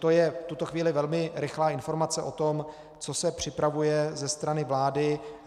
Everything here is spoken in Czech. To je v tuto chvíli velmi rychlá informace o tom, co se připravuje ze strany vlády.